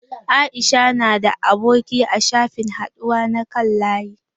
Aisha na da aboki a shafin haɗuwa na kan layi.